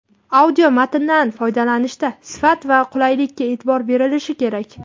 audio va matndan foydalanishda sifat va qulaylikka eʼtibor berilishi kerak.